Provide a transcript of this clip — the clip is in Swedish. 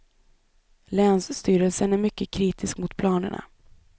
Länsstyrelsen är mycket kritisk mot planerna.